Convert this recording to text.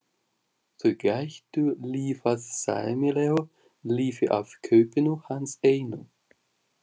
Þau gætu lifað sæmilegu lífi af kaupinu hans einu.